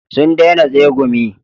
Sun daina tsegumi